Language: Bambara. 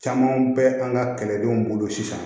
Camanw bɛ an ka kɛlɛdenw bolo sisan